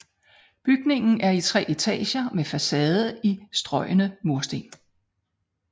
Bygningen er i tre etager med facade i strøgne mursten